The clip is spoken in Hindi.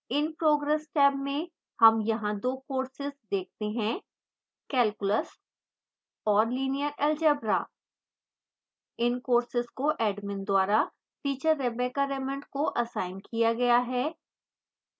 in progress टैब में हम यहां 2 courses देखते हैं: calculus और linear algebra इन courses को admin द्वारा teacher rebecca raymond को असाइन किया गया है